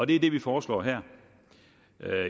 det er det vi foreslår her